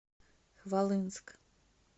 хвалынск